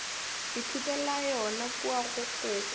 ithutela yona kua go koko